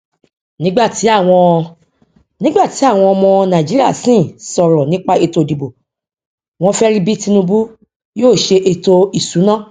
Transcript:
nígbà tí àwọn nígbà tí àwọn ọmọ nàìjíríà sín sọrọ nípa ètò ìdìbò wọn fẹ rí bí tinubu yóò ṣe ètò ìsúná